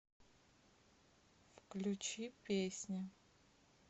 включи песня